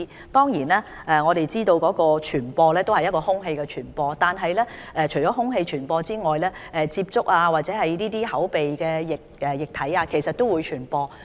當然，我們都知道麻疹可以經空氣傳播，但除了空氣傳播外，亦可經口鼻分泌液體傳播。